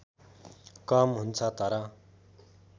कम हुन्छ तर